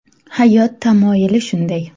Hayot tamoyili shunday.